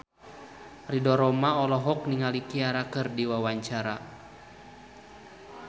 Ridho Roma olohok ningali Ciara keur diwawancara